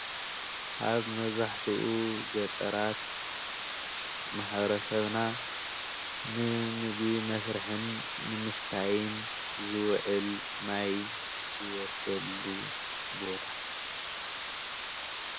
ኣብ መብዛሕትኡ ገጠራት ማሕበረሰብና ንምግቢ መስርሕን ንምስታይን ዝውዕል ማይ ዝወስደሉ ቦታ